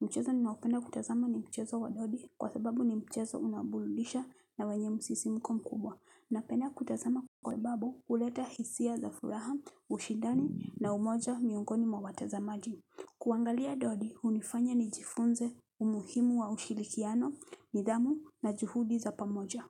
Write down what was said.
Mchezo ninaopenda kutazama ni mchezo wadodi. Kwa sababu ni mchezo unaoburudisha na wenye msisimko mkubwa. Napenda kutazama kwa sababu huleta hisia za furaha, ushindani na umoja miungoni mwa watazamaji. Kuangalia dodi, hunifanya nijifunze umuhimu wa ushirikiano, nidhamu na juhudi za pamoja.